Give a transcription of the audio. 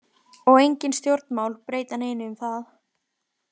Og engin stjórnmál breyta neinu um það.